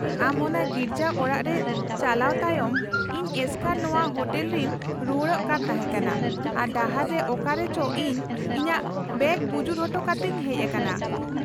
-ᱟᱢ ᱚᱱᱟ ᱜᱤᱨᱡᱟᱹ ᱚᱲᱟᱜ ᱨᱮ ᱪᱟᱞᱟᱣ ᱛᱟᱭᱚᱢ, ᱤᱧ ᱮᱥᱠᱟᱨ ᱱᱚᱶᱟ ᱦᱳᱴᱮᱞ ᱨᱮᱧ ᱨᱩᱣᱟᱹᱲᱚᱜ ᱠᱟᱱ ᱛᱟᱦᱮᱸ ᱠᱟᱱᱟ ᱟᱨ ᱰᱟᱦᱟᱨ ᱨᱮ ᱚᱠᱟᱨᱮ ᱪᱚ ᱤᱧ ᱤᱧᱟᱹᱜ ᱵᱮᱜᱽ ᱵᱩᱡᱩᱨ ᱦᱚᱴᱚ ᱠᱟᱛᱮᱧ ᱦᱮᱡ ᱟᱠᱟᱱᱟ ᱾